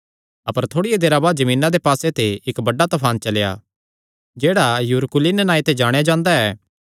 अपर थोड़िया देरा बाद जमीना दे पास्से ते इक्क बड्डा तफान चलेया जेह्ड़ा युरकुलिन नांऐ ते जाणेयां जांदा ऐ